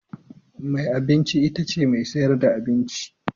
Mai abinci itace mai sayar da abinci.